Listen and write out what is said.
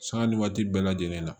Sanga ni waati bɛɛ lajɛlen na